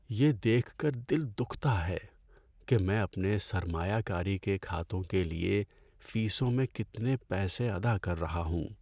یہ دیکھ کر دل دکھتا ہے کہ میں اپنے سرمایہ کاری کے کھاتوں کے لیے فیسوں میں کتنے پیسے ادا کر رہا ہوں۔